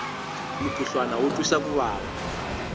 mukhuhlwana wu twisa ku vava